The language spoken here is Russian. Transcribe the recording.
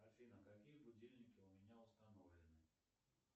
афина какие будильники у меня установлены